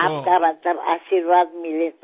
आपका आशीर्वाद मिले तो